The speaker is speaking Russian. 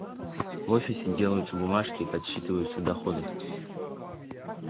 в офисе делаются бумажки и подсчитываются доходы